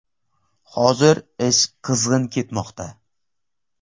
Hozir ish qizg‘in ketmoqda.